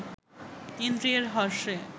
ইন্দ্রিয়ের হর্ষে